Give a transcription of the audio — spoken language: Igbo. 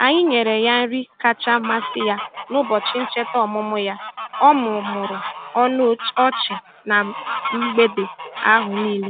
Anyi nyere ya nri kacha amasị ya n'ụbọchị ncheta ọmụmụ ya, o mumuru ọnụ ọchị na mgbede ahụ niile.